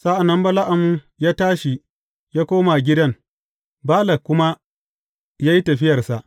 Sa’an nan Bala’am ya tashi ya koma gidan, Balak kuma ya yi tafiyarsa.